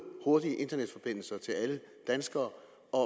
hurtige internetforbindelser til alle danskere